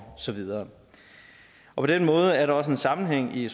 så videre på den måde er der også en sammenhæng i